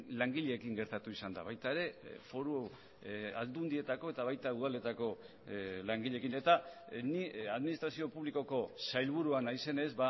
langileekin gertatu izan da baita ere foru aldundietako eta baita udaletako langileekin eta ni administrazio publikoko sailburua naizenez